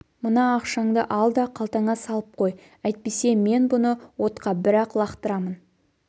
мына ақшаңды ал да қалтаңа салып қой әйтпесе мен бұны отқа бір-ақ лақтырамын